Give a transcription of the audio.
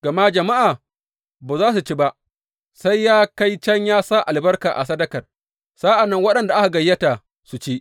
Gama jama’a ba za su ci ba, sai ya kai can ya sa albarka a sadakar, sa’an nan waɗanda aka gayyata su ci.